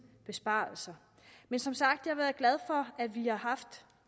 besparelser men som sagt er jeg glad for at vi har haft